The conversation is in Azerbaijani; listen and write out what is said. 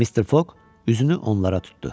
Mister Foq üzünü onlara tutdu.